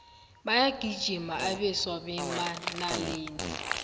bayagijima abeswa bemanaleni